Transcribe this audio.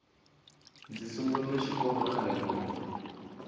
ndzi sungurile xikolokhale ngopfu